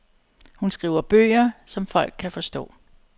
Hun skriver bøger, som folk kan forstå.